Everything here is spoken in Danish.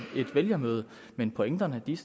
vælgermøde men pointerne er